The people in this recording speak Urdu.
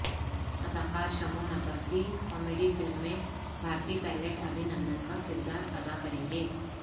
اداکار شمعون عباسی کامیڈی فلم میں بھارتی پائلٹ ابھی نندن کا کردار ادا کریں گے